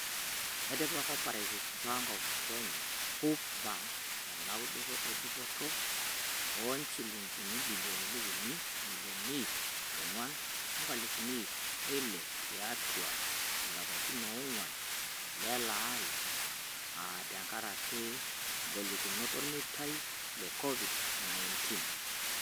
Etipika Co-operative Bank of Kenya (Coop Bank) edounoto e dupoto o injilingini bilioni uni imilioni iip oonguan o nkalifuni iip oile tiatu ilapatin oonguan leleari aa tengaraki golikinoto olmeitai le Covid-19.